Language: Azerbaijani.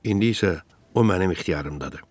İndi isə o mənim ixtiyarımdadır.